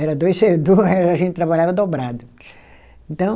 Era dois ser, era a gente trabalhava dobrado. Então